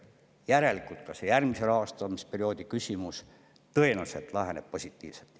Järelikult laheneb ka järgmise rahastamisperioodi küsimus tõenäoliselt positiivselt.